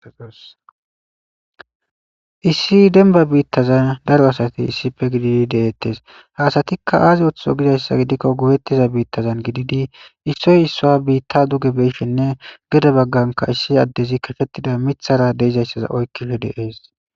Issi denba biittazan daro asati issife gididi deettes haasatikka aazi oththo gidayssa gidikko gowettiza biittazan gididi issoy issoa biitta duge beeshinne gede bagganka issi addezi kafhettida mithara deezayssaza oykkihe deees